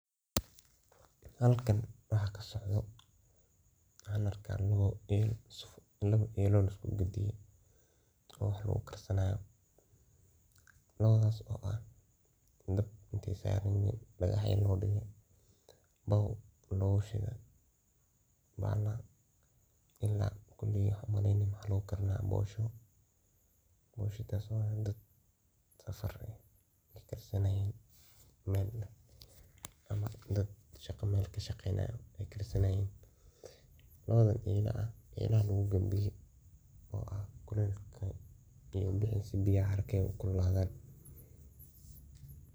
Halkan waxa kasocdo waxan arka anigu ,labo elo ama sufriyad oo laiskugadiye. Rux wax u karsanayo ,labadas oo ah oo baw lagushide. Bahalahan koley waxan u maleyni lagu karinaya poshoo ,poshadas oo dad safar eh ay karsanayin oo dad mel kashaqeynayin ay karsanayin .Labadan elaa ah oo lagu gadiye oo biyara haraka ay kululadhan.